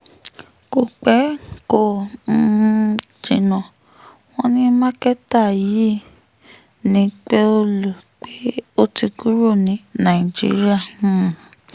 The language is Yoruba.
kò pẹ́ kò um jìnnà wọ́n ní mákẹ́tà yìí ní pẹ́ọ̀lù pé ó ti kúrò ní nàìjíríà um